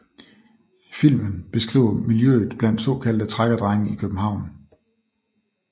Filmen beskriver miljøet blandt såkaldte trækkerdrenge i København